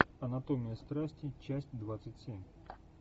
анатомия страсти часть двадцать семь